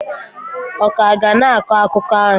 ọ ka ga na-akọ akụkọ ahụ?